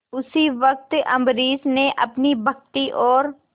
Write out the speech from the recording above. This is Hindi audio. उसी वक्त अम्बरीश ने अपनी भक्ति और